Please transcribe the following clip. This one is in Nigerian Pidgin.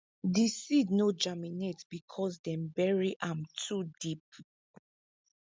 di seed no germinate because dem bury am too deep